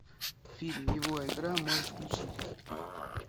фильм его игра можешь включить